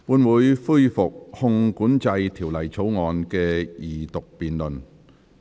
本會恢復《汞管制條例草案》的二讀辯論。